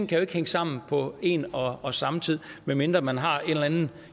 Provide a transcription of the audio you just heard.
kan hænge sammen på en og og samme tid medmindre man har en eller anden